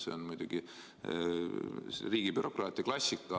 See on muidugi riigibürokraatia klassika.